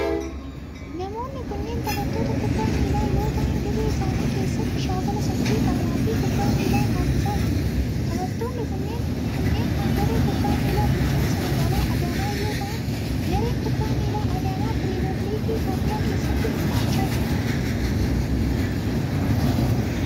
Namoonni kunneen taphattoota kubbaa miilaa yoo ta'an dirree isaanii keessatti shaakala sochii qaamaa fi kubbaa miilaa taasisaa jiru. Taphattoonni kunneen kan garee kubbaa miilaa bulchiinsa magaalaa Adaamaa yoo ta'an, gareen kubbaa miilaa Adaamaa pirimeer liigii Itoophiyaa keessatti hirmaachaa jira.